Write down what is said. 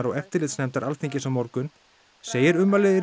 og eftirlitsnefndar Alþingis á morgun segir ummæli